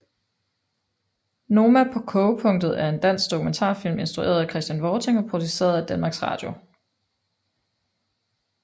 Noma på kogepunktet er en dansk dokumentarfilm instrueret af Christian Vorting og produceret af Danmarks Radio